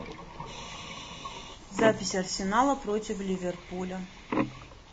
запись арсенала против ливерпуля